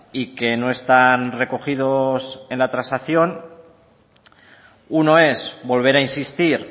y que no están recogidos en la transacción uno es volver a insistir